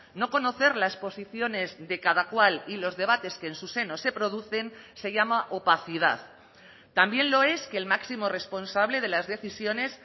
no conocer las posiciones de cada cual y los debates que en su seno se producen se llama opacidad también lo es que el máximo responsable de las decisiones